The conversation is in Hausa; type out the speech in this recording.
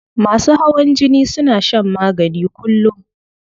Masu hawan jini suna shan magani kullum.